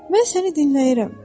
Mən səni dinləyirəm,